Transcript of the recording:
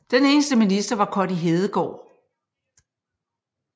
Den eneste minister var Connie Hedegaard